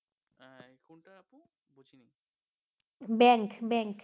bank bank